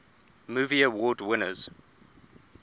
movie award winners